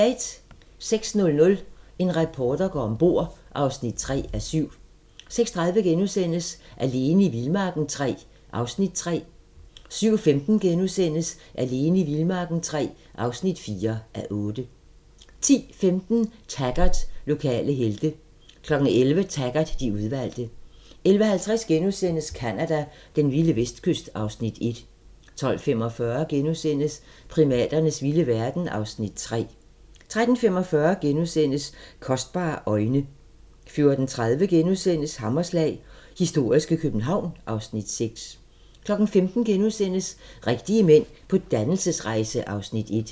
06:00: En reporter går om bord (3:7) 06:30: Alene i vildmarken III (3:8)* 07:15: Alene i vildmarken III (4:8)* 10:15: Taggart: Lokale helte 11:00: Taggart: De udvalgte 11:50: Canada: Den vilde vestkyst (Afs. 1)* 12:45: Primaternes vilde verden (Afs. 3)* 13:45: Kostbare øjne * 14:30: Hammerslag - historiske København (Afs. 6)* 15:00: Rigtige mænd på dannelsesrejse (Afs. 1)*